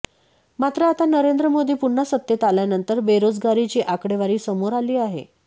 मात्र आता नरेंद्र मोदी पुन्हा सत्तेत आल्यानंतर बेरोजगारीची आकडेवारी समोर आली आहे